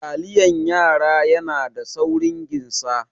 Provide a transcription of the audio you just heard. Taliyan yara yana da saurin ginsa.